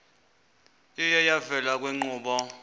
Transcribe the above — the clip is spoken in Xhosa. iye yavela kwiinkqubo